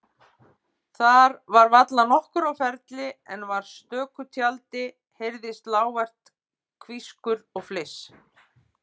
Þar var varla nokkur á ferli en frá stöku tjaldi heyrðist lágvært hvískur og fliss.